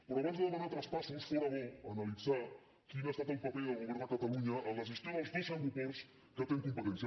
però abans de demanar traspassos fóra bo analitzar quin ha estat el paper del govern de catalunya en la gestió dels dos aeroports que té en competència